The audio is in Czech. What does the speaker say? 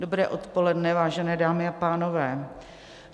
Dobré odpoledne, vážené dámy a pánové.